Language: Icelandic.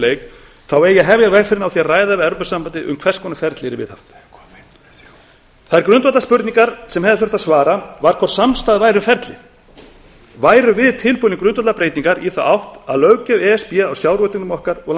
leik eigi að hefja vegferðina á því að ræða við evrópusambandið um hvers konar ferli yrði viðhaft sú grundvallarspurning sem hefði þurft að svara var hvort samstaða væri um ferlið værum við tilbúin í grundvallarbreytingar í átt að löggjöf e s b á sjávarútveginum okkar og